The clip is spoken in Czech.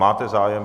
Máte zájem.